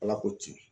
Ala k'o tiɲɛ